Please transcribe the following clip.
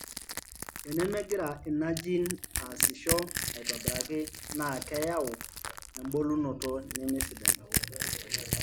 tenemegira ina gene aasisho aitobiraki naa keyau ebulunoto neme sidai.